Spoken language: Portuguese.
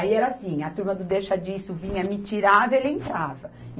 Aí era assim, a turma do deixa disso vinha, me tirava e ele entrava.